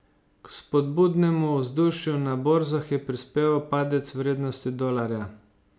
K spodbudnemu vzdušju na borzah je prispeval padec vrednosti dolarja.